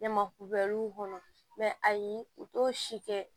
Ɲamakubaliw kɔnɔ ayi u t'o si kɛ